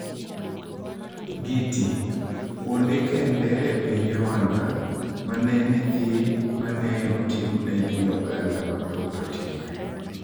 Giti: Kuonde kende e piny Rwanda mane nethi mane otimne ji oganda mathoth otimre